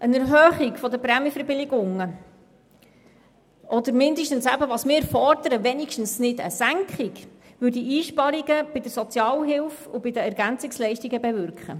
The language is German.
Eine Erhöhung der Prämienverbilligungen oder zumindest keine Senkung würde Einsparungen bei der Sozialhilfe und den EL bewirken.